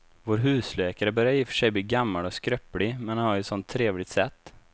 Vår husläkare börjar i och för sig bli gammal och skröplig, men han har ju ett sådant trevligt sätt!